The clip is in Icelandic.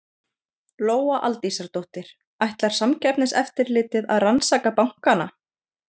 Lóa Aldísardóttir: Ætlar Samkeppniseftirlitið að rannsaka bankana?